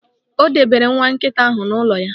O debere nwa nkịta ahụ n'ụlọ ya.